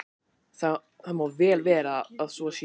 Það má vel vera að svo sé.